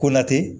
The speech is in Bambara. Ko na tɛ